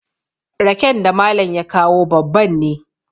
raken da Malam ya kawo babban ne